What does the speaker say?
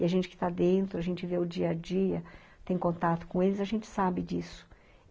E a gente que está dentro, a gente vê o dia a dia, tem contato com eles, a gente sabe disso.